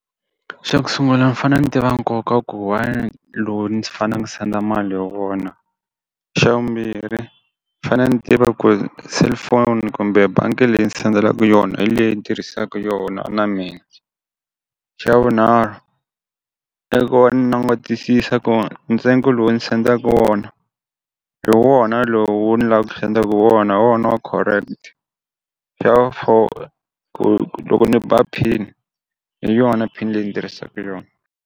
Xa ku sungula mi fane ni tiva nkoka ku why ndzi senda a mali hi wona, xa vumbirhi ni fanele ni tiva ku ri cellphone kumbe bangi leyi ni sendela yona hi leyi ni tirhisaku yona na mina, xa vunharhu i ku ni langutisisa ku ntsengo lowu ni sendaka wona, hi wona lowu ni la ku sendaku wona wona hi wa correct, xa vu four ku loko ni ba pin hi yona pin leyi ni tirhisaku yona.